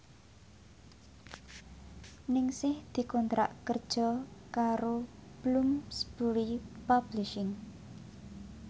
Ningsih dikontrak kerja karo Bloomsbury Publishing